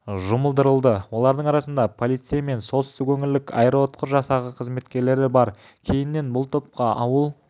жұмылдырылды олардың арасында полицей мен солтүстік өңірлік аэроұтқыр жасағы қызметкерлері бар кейіннен бұл топқа ауыл